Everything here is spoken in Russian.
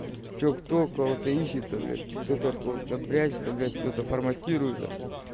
что кто кого-то ищет блять кто-то от кого-то прячешься блять что-то форматируется